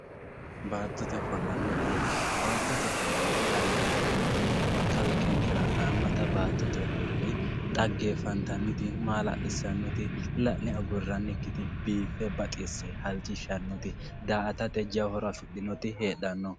baatotte ofollanna xagge baatotte ofollanna xagge yineemoti kalqenkera haamata baatotte ofolla xaggeefantanite maala'lisannoti la'ne aguranikiti biife baxisse halchishannoti daa"atete jawa horo afidhinoti heexano.